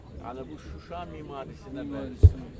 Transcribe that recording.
Hə, yəni bu Şuşa memarisinə bənzəyir.